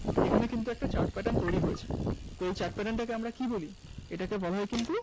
এখানে কিন্তু একটা Chart pattern তৈরি হয়েছে, এই Chart pattern টাকে আমরা কি বলি? এটাকে বলা হয় কিন্তু